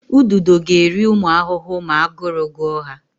Ududo ga-eri ụmụ ahụhụ ma aguru gụọ ha.